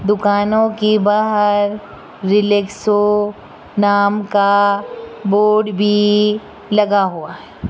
दुकानों की बहर रिलैक्सो नाम का बोर्ड भी लगा हुआ है।